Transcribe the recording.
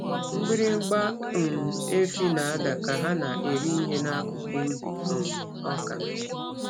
Mgbịrịgba um efi na-ada ka ha na-eri ihe n'akụkụ ubi um ọka.